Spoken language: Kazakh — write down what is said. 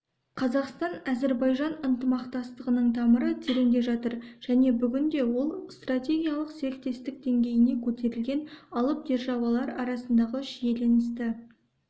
қазақстан-әзербайжан ынтымақтастығының тамыры тереңде жатыр және бүгінде ол стратегиялық серіктестік деңгейіне көтерілген алып державалар арасындағы шиеленісті